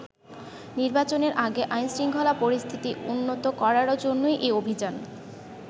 নির্বাচনের আগে আইন শৃঙ্খলা পরিস্থিতি উন্নত করার জন্যই এ অভিযান।